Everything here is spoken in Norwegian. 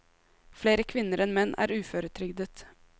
Flere kvinner enn menn er uføretrygdet.